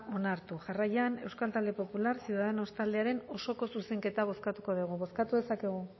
onartu jarraian euskal talde popular ciudadanos taldearen osoko zuzenketa bozkatuko dugu